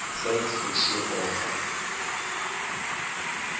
science fiction author